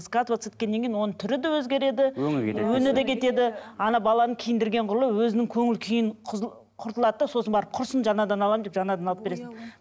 скатываться еткеннен кейін оны түрі де өзгереді өңі де кетеді баланы киіндірген құрлы өзінің көңіл күйін құртылады да сосын барып құрсын жаңадан аламын деп жаңадан алып бересің